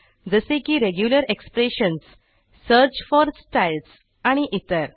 जसे की regular expressions search for Stylesआणि इतर